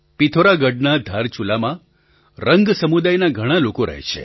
પિથોરાગઢના ધારચુલામાં રંગ સમુદાયના ઘણા લોકો રહે છે